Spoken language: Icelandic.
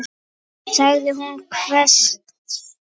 sagði hún hvasst.